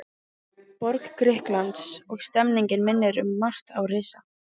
borg Grikklands, og stemmningin minnir um margt á risa